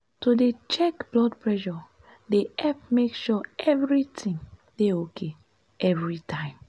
to dey check blood presure dey epp make sure evritin dey ok everi time.